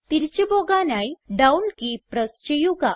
തിരിച്ച് പോകാനായി down key press ചെയ്യുക